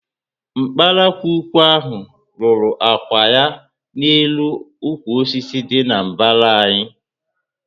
Nkparakwukwu ahụ rúrú ákwà ya na élú ukwu osisi dị na mbara anyị